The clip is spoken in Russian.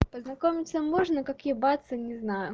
познакомиться можно как ебаться не знаю